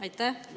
Aitäh!